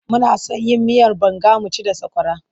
Muna son yin miyar banga mu ci da sakwara.